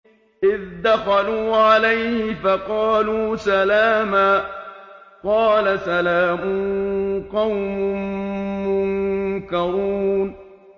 إِذْ دَخَلُوا عَلَيْهِ فَقَالُوا سَلَامًا ۖ قَالَ سَلَامٌ قَوْمٌ مُّنكَرُونَ